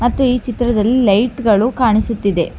ಮತ್ತು ಈ ಚಿತ್ರದಲ್ಲಿ ಲೈಟ್ ಗಳು ಕಾಣಿಸುತ್ತಿದೆ.